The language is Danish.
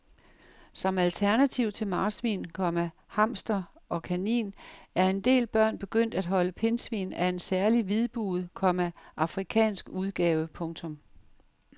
Som alternativ til marsvin, komma hamster og kanin er en del børn begyndt at holde pindsvin af en særlig hvidbuget, komma afrikansk udgave. punktum